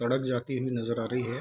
सड़क जाती हुई नजर आ रही है।